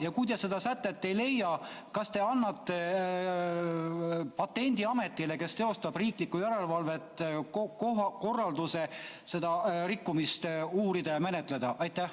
Ja kui te seda sätet ei leia, kas te annate patendiametile, kes teostab riiklikku järelevalvet, korralduse seda rikkumist uurida ja menetleda?